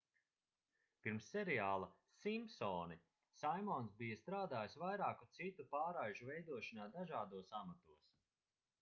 pirms seriāla simpsoni saimons bija strādājis vairāku citu pārraižu veidošanā dažādos amatos